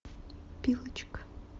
пилочка